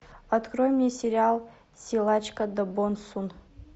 открой мне сериал силачка до бон сун